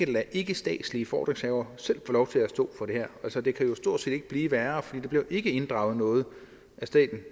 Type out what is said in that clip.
lade ikkestatslige fordringshavere selv få lov til at stå for det her altså det kan stort set ikke blive værre for der bliver ikke inddrevet noget af staten